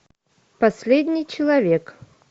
последний человек